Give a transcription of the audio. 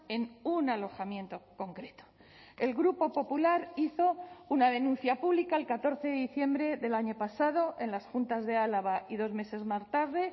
en un alojamiento concreto el grupo popular hizo una denuncia pública el catorce de diciembre del año pasado en las juntas de álava y dos meses más tarde